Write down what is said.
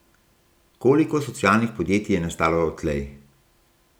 Koliko socialnih podjetij je nastalo odtlej?